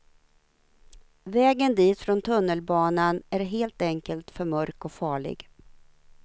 Vägen dit från tunnelbanan är helt enkelt för mörk och farlig.